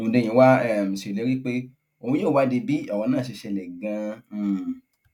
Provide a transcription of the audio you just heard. hondnyin wàá um ṣèlérí pé òun yóò wádìí bí ọrọ náà ṣe ṣẹlẹ ganan um